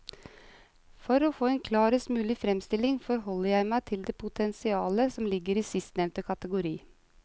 For å få en klarest mulig fremstilling forholder jeg meg til det potensialet som ligger i sistnevnte kategori.